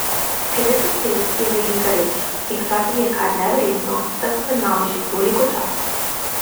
Petdeset let je velika reč, in včasih je kar neverjetno, da so med nami že toliko časa.